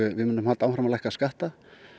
við munum halda áfram að lækka skatta